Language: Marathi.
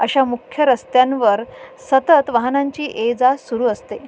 अश्या मुख्य रस्त्यांवर सतत वाहनांची ये जा सुरू असते.